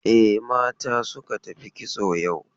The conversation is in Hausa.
E, mata suka tafi kitso yau.